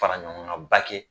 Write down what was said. Fara ɲɔgɔngaanba kɛ